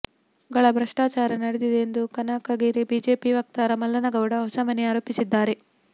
ಗಳ ಭ್ರಷ್ಟಾಚಾರ ನಡೆದಿದೆ ಎಂದು ಕನಕಗಿರಿ ಬಿಜೆಪಿ ವಕ್ತಾರ ಮಲ್ಲನಗೌಡ ಹೊಸಮನಿ ಆರೋಪಿಸಿದ್ದಾರೆ